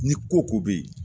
Ni ko ko bɛ yen